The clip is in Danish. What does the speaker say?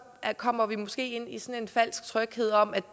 kommer vi måske ind i sådan en falsk tryghed om at